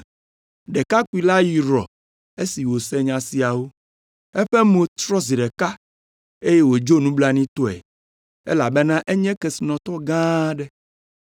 Ɖekakpui la yrɔ esi wòse nya siawo; eƒe mo trɔ zi ɖeka eye wòdzo nublanuitɔe, elabena enye kesinɔtɔ gã aɖe.